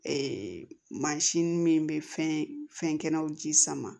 mansin min bɛ fɛn fɛn kɛnɛw ji sama